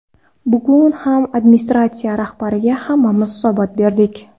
Bugun ham administratsiya rahbariga hammamiz hisobot berdik.